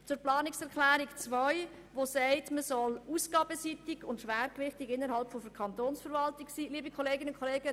Zur Planungserklärung 2, welche fordert, dass man ausgabenseitig etwas tun und vor allem bei der Kantonsverwaltung sparen solle: